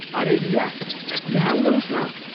अरे रिया, यहाँ आउनुहोस् न।